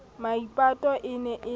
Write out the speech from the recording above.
maipato e ne e le